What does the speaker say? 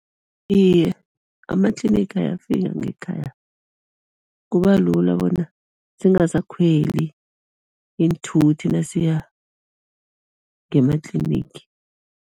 Iye, ama-clinic ayafika ngekhaya, kubalula bona singasakhweli iinthuthi nasiya ngema-clinic.